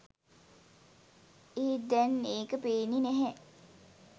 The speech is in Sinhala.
ඒත් දැන් ඒක පේන්නේ නැහැ